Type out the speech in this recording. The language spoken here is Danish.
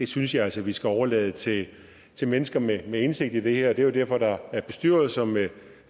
synes jeg altså vi skal overlade til til mennesker med indsigt i det her det er jo derfor der er bestyrelser med